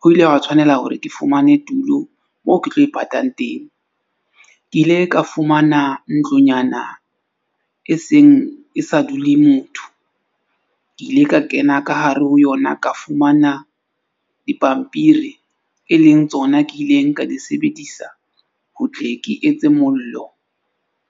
Ho ile hwa tshwanela hore ke fumane tulo moo ke tlo ipatang teng. Ke ile ka fumana ntlonyana e seng e sa dule motho. Ke ile ka kena ka hare ho yona ka fumana dipampiri, e leng tsona ke ileng ka di sebedisa. Ho tle ke etse mollo